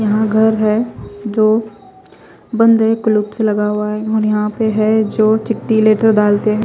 यहा घर है जो बंद है क्लिप्स से लगा हुआ है और यहा पे है जो चीटी लेटर डालते है।